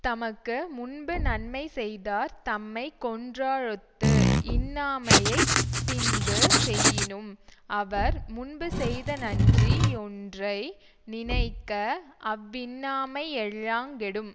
தமக்கு முன்பு நன்மை செய்தார் தம்மை கொன்றாலொத்து இன்னாமையைப் பின்பு செய்யினும் அவர் முன்பு செய்த நன்றி யொன்றை நினைக்க அவ்வின்னாமை யெல்லாங் கெடும்